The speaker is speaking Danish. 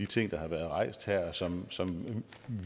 ting der har været rejst her som som